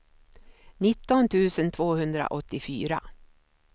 nitton tusen tvåhundraåttiofyra